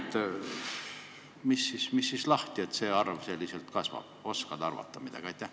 Mis siis lahti on, et see arv selliselt kasvab, oskad sa midagi arvata?